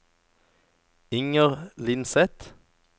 Inger Lindseth